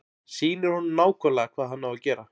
Sýnir honum nákvæmlega hvað hann á að gera.